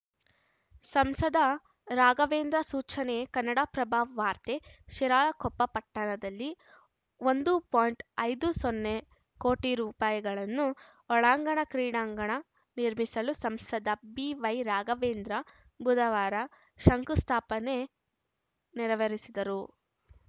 ಸಂಸದ ರಾಘವೇಂದ್ರ ಸೂಚನೆ ಕನ್ನಡಪ್ರಭ ವಾರ್ತೆ ಶಿರಾಳಕೊಪ್ಪ ಪಟ್ಟಣದಲ್ಲಿ ಒಂದು ಪಾಯಿಂಟ್ ಐದು ಸೊನ್ನೆ ಕೋಟಿ ರೂಪಾಯಿ ಒಳಾಂಗಣ ಕ್ರೀಡಾಂಗಣ ನಿರ್ಮಿಸಲು ಸಂಸದ ಬಿವೈರಾಘವೇಂದ್ರ ಬುಧವಾರ ಶಂಕುಸ್ಥಾಪನೆ ನೆರವೇರಿಸಿದರು